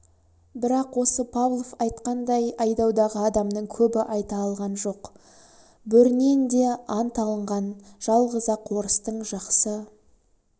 бірақ осы павлов айтқандай айдаудағы адамның көбі айта алған жоқ бөрінен де ант алынған жалғыз-ақ орыстың жақсы